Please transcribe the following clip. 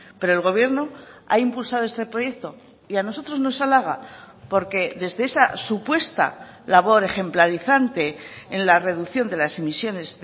pero el gobierno ha impulsado este proyecto y a nosotros nos alaga porque desde esa supuesta labor ejemplarizante en la reducción de las emisiones